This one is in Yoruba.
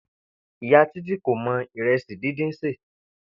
Ìyá Títí kò mo̩ ìre̩sì díndín sè